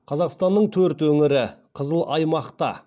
қазақстанның төрт өңірі қызыл аймақта